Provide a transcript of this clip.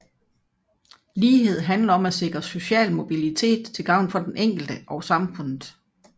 Lighed handler om at sikre social mobilitet til gavn for den enkelte og samfundet